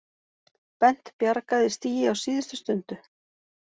Bent bjargaði stigi á síðustu stundu